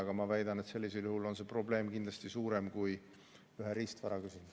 Aga ma väidan, et sellisel juhul on probleem kindlasti suurem kui riistvara küsimus.